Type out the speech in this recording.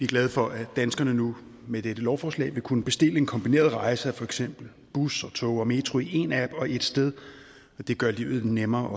glade for at danskerne nu med dette lovforslag vil kunne bestille en kombineret rejse af for eksempel bus og tog og metro i én app og ét sted det vil gøre livet lidt nemmere